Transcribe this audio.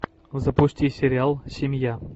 запусти сериал семья